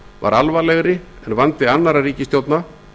var alvarlegri en vandi annarra ríkisstjórna